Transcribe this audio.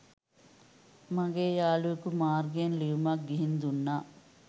මගේ යාළුවකු මාර්ගයෙන් ලියුමක් ගිහින් දුන්නා